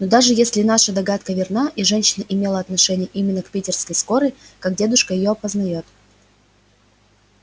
но даже если наша догадка верна и женщина имела отношение именно к питерской скорой как дедушка её опознает